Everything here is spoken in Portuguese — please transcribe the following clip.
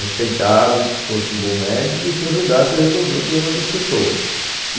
respeitado e que fosse um bom médico e que ajudasse a resolver o problema das pessoas.